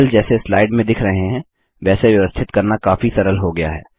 बादल जैसे स्लाइड में दिख रहे हैं वैसे व्यवस्थित करना काफी सरल हो गया है